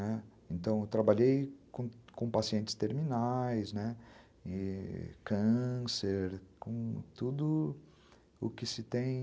Então, eu trabalhei com pacientes terminais, né, câncer, com tudo o que se tem...